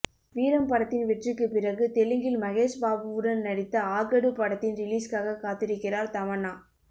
வீரம் படத்தின் வெற்றிக்கு பிறகு தெலுங்கில் மகேஷ் பாபுவுடன் நடித்த ஆகடு படத்தின் ரிலிஸ்காக காத்திருக்கிறார் தமன்னா